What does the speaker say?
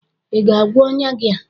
ị ga-agwọ ọnya gị a?